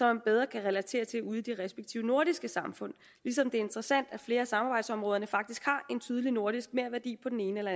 man bedre kan relatere til ude i de respektive nordiske samfund ligesom det er interessant at flere af samarbejdsområderne faktisk har en tydelig nordisk merværdi på den ene eller